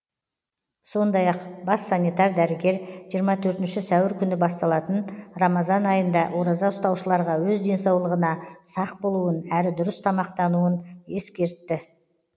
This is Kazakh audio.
сондай ақ бас санитар дәрігер жиырма төртінші сәуір күні басталатын рамазан айында ораза ұстаушыларға өз денсаулығына сақ болуын әрі дұрыс тамақтануын ескертті